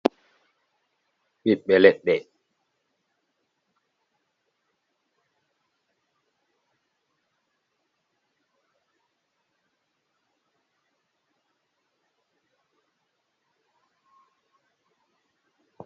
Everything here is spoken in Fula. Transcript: Pit ɓe let ɗe.